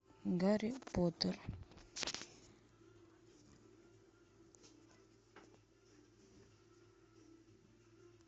гарри поттер